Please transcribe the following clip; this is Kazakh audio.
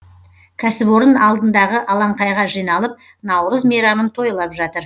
кәсіпорын алдындағы алаңқайға жиналып наурыз мейрамын тойлап жатыр